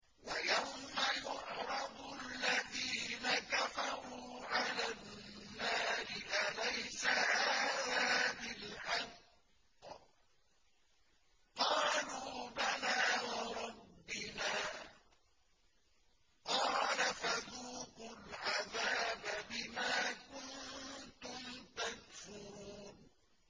وَيَوْمَ يُعْرَضُ الَّذِينَ كَفَرُوا عَلَى النَّارِ أَلَيْسَ هَٰذَا بِالْحَقِّ ۖ قَالُوا بَلَىٰ وَرَبِّنَا ۚ قَالَ فَذُوقُوا الْعَذَابَ بِمَا كُنتُمْ تَكْفُرُونَ